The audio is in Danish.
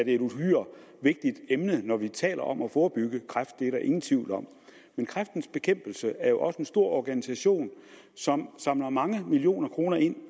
et uhyre vigtigt emne når vi taler om at forebygge kræft det er der ingen tvivl om men kræftens bekæmpelse er jo også en stor organisation som samler mange millioner kroner ind